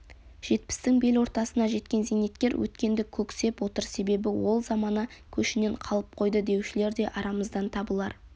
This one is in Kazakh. жетпістің бел ортасына жеткен зейнеткер өткенді көксеп отыр себебі ол замана көшінен қалып қойды деушілер де арамыздан табылар